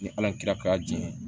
Ni ala ye kira kura di ye